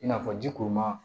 I n'a fɔ ji kuru ma